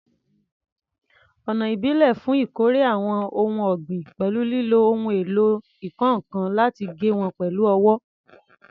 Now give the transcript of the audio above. Ọ̀nà ìbílẹ̀ fún ìkórè àwọn ohun ọ̀gbìn pẹ̀lú lílo ohun èlò ìkọ́ nǹkan láti gé wọn pẹ̀lú ọwọ́